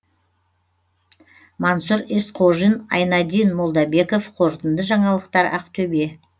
мансұр есқожин айнадин молдабеков қорытынды жаңалықтар ақтөбе